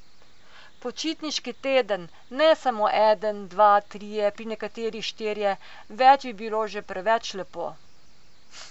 Počitniški teden, ne samo eden, dva, trije, pri nekaterih štirje, več bi bilo že preveč lepo ...